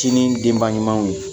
Sinin denba ɲumanw ye